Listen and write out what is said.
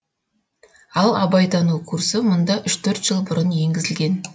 ал абайтану курсы мұнда үш төрт жыл бұрын енгізілген